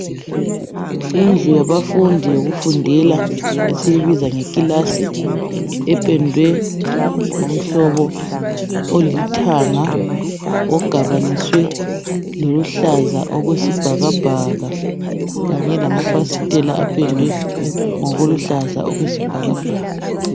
Indlu yabafundi yokufundela esiyibiza ngekilasi ependwe ngomhlobo olithanga ogabaniswe loluhlaza okwesibhakabhaka kanye lamafasitela apendwe ngokuluhlaza okwesibhakabhaka.